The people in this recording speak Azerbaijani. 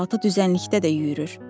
Qaraltı düzənlikdə də yüyürür.